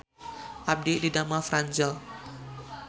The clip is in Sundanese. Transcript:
Abdi didamel di Franzel